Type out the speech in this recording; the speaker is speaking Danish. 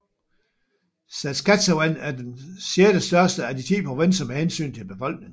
Saskatchewan er den sjettestørste af de 10 provinser med hensyn til befolkning